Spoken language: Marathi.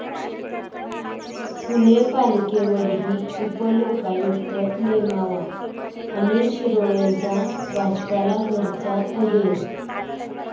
पुणे पालिकेवरही उपलोकायुक्त नेमावा, अनिल शिरोळेंचा भाजपला घरचा अहेर